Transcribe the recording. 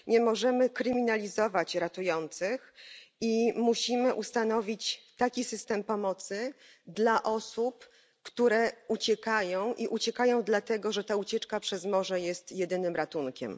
Nie możemy kryminalizować ratujących i musimy ustanowić system pomocy dla osób, które uciekają, a uciekają dlatego, że ta ucieczka przez morze jest jedynym ratunkiem.